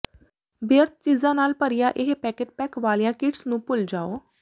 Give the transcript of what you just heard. ਬੇਅਰਥ ਚੀਜ਼ਾਂ ਨਾਲ ਭਰੀਆਂ ਇਹ ਪੈਕਟ ਪੈਕ ਵਾਲੀਆਂ ਕਿਟਸ ਨੂੰ ਭੁੱਲ ਜਾਓ